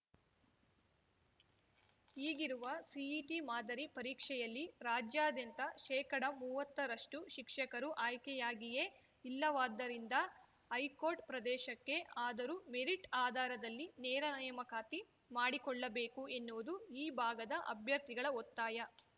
ಈಗಿರುವ ಸಿಇಟಿ ಮಾದರಿ ಪರೀಕ್ಷೆಯಲ್ಲಿ ರಾಜ್ಯಾದ್ಯಂತ ಶೇಕಡಮುವ್ವತ್ತ ರಷ್ಟುಶಿಕ್ಷಕರು ಆಯ್ಕೆಯಾಗಿಯೇ ಇಲ್ಲವಾದ್ದರಿಂದ ಹೈಕೋರ್ಟ್ ಪ್ರದೇಶಕ್ಕೆ ಆದರೂ ಮೆರಿಟ್‌ ಆಧಾರದಲ್ಲಿ ನೇರ ನೇಮಕಾತಿ ಮಾಡಿಕೊಳ್ಳಬೇಕು ಎನ್ನುವುದು ಈ ಭಾಗದ ಅಭ್ಯರ್ಥಿಗಳ ಒತ್ತಾಯ